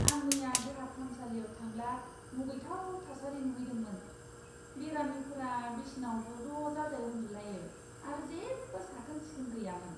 आं मैया देहा फाहामसालियाव थांब्ला मुगैथाव थासारि नुहैदोंमोन। बेरामिफोरा बिसनाआव जज' जाजाय उन्दुलायो आरो जेबो साखोन सिखोन गैयामोन!